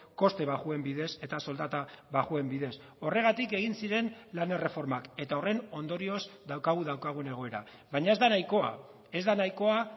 koste baxuen bidez eta soldata baxuen bidez horregatik egin ziren lan erreformak eta horren ondorioz daukagu daukagun egoera baina ez da nahikoa ez da nahikoa